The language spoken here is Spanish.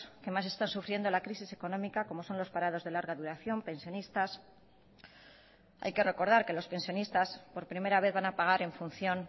que más están sufriendo la crisis económica como son los parados de larga duración pensionistas hay que recordar que los pensionistas por primera vez van a pagar en función